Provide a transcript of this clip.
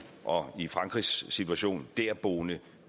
og i frankrigs situation derboende